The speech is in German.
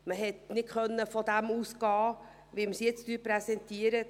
Man konnte nicht von dem ausgehen, was wir jetzt präsentieren.